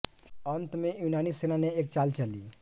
अंत में यूनानी सेना ने एक चाल चली